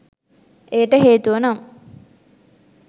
එයට හේතුව නම්